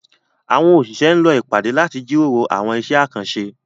Àwọn òṣìṣẹ́ ń lọ ìpàdé láti jíròrò àwọn iṣẹ́ àkànṣe